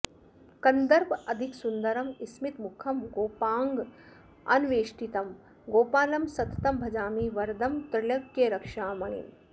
कन्दर्पाधिकसुन्दरं स्मितमुखं गोपाङ्गनावेष्टितं गोपालं सततं भजामि वरदं त्रैलोक्यरक्षामणिम्